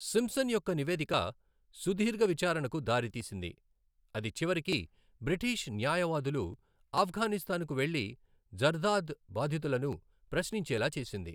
Simpson యొక్క నివేదిక సుదీర్ఘ విచారణకు దారితీసింది, అది చివరికి బ్రిటీష్ న్యాయవాదులు ఆఫ్ఘనిస్తాన్కు వెళ్లి జర్దాద్ బాధితులను ప్రశ్నించేలా చేసింది.